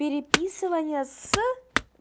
переписывание с